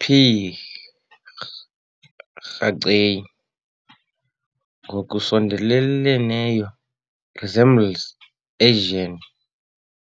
"P. raceyi" ngokusondeleleneyo resembles i-Asian